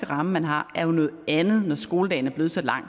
ramme man har er noget andet når skoledagen er blevet så lang